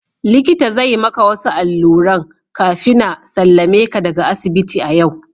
Likita zai maka wasu alluran kafina sallameka daga asibiti a yau.